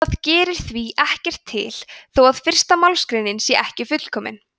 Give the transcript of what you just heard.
það gerir því ekkert til þó að fyrsta málsgreinin sé ekki fullkomin